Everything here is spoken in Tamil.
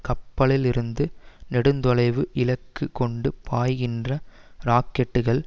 கப்பல்களிலிருந்து நெடுந்தொலைவு இலக்கு கொண்டு பாய்கின்ற ராக்கெட்டுகள்